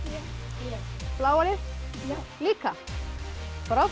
já bláa lið já líka frábært